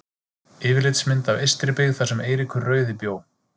Yfirlitsmynd af Eystribyggð þar sem Eiríkur rauði bjó.